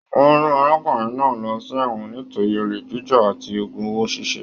Wọn rán arákùnrin náà lọ sí ẹwọn nítorí ole jíjà àti ogún owó ṣiṣe.